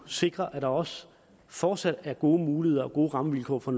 sikre at der også fortsat er gode muligheder og gode rammevilkår for